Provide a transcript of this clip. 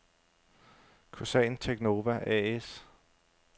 Kosan Teknova A/S